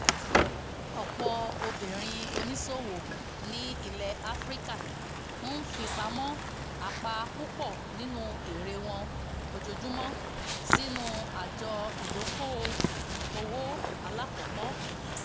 ọ̀pọ̀ obìnrin oníṣòwò ní ilẹ̀ áfíríkà ń fipamọ́ apá púpọ̀ nínú èrè wọn ojoojúmọ́ sínú àjọ ìdoko-owó alákọ̀kọ́